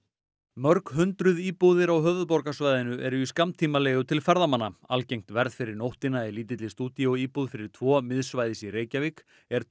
mörg hundruð íbúðir á höfuðborgarsvæðinu eru í skammtímaleigu til ferðamanna algengt verð fyrir nóttina í lítilli stúdíóíbúð fyrir tvo miðsvæðis í Reykjavík er